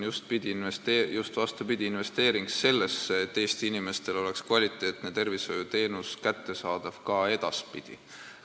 Just vastupidi, see on investeering sellesse, et Eesti inimestel oleks kvaliteetne tervishoiuteenus kättesaadav ka edaspidi.